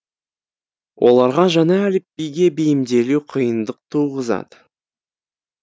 оларға жаңа әліпбиге бейімделу қиындық туғызады